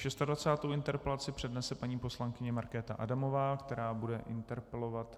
Šestadvacátou interpelaci přednese paní poslankyně Markéta Adamová, která bude interpelovat...